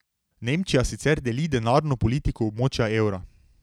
Nemčija sicer deli denarno politiko območja evra.